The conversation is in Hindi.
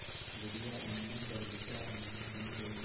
बूढ़िया अमीना बालिका अमीना बन गईं